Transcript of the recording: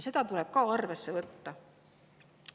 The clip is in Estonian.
Seda tuleb ka arvesse võtta.